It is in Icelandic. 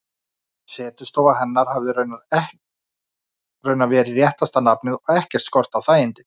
Setustofa hefði raunar verið réttasta nafnið, og ekkert skorti á þægindin.